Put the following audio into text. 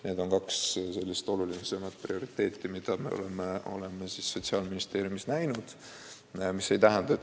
Need on kaks kõige olulisemat prioriteeti, mis Sotsiaalministeeriumis on seatud.